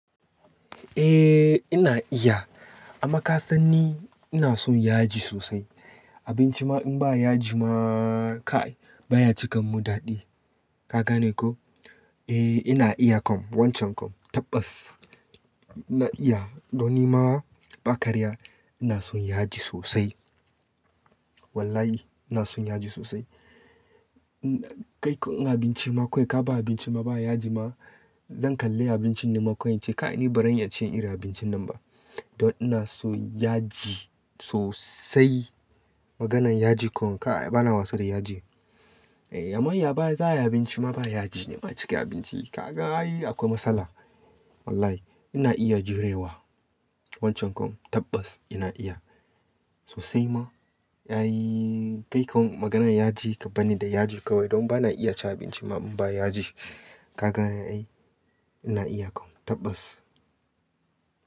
Eh ina iya amma ka san ni ina son yaji sosai. Abinci ma in ba yaji ma kai baya cika mun daɗi. Ka gane ko? Eh ina iya kom wancan kom tabbas ina iya. Don ni ma ba ƙarya ina son yaji sosai. Wallahi ina son yaji sosai. Kai ko in abinci ma kawai ka ba abinci ma ba yaji ma zan kalle abincin naman ƙoinci ka ani ba ranya iya cin irin abincin nan ba. Don ina so yaji sosai. Maganan yaji kom kai bana wasa da yaji. Eh amma ya baya za'a yi abinci ma ba yaji ne ma cike abinci. Ka ga yi akwai matsala. Wallahi ina iya jurewa wancan kom tabbas ina iya sosai ma. Yayi kai kom maganan yaji ka bani da yaji kawai don bana iya ci abinci ma in ba yaji. Ka gane ai ina iya kom tabbas.